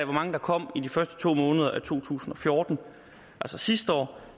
mange der kom i de første to måneder af to tusind og fjorten altså sidste år